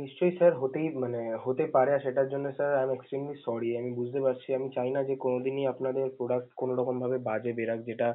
নিশ্চয়ই sir হতেই~ মানে হতে পারে না, সেটার জন্যে আমি I am extremely sorry । আমি বুঝতে পারছি। আমি চাইনা যে কোনোদিনই আপনাদের product কোনোরকম ভাবে বাজে বেরাক যেটা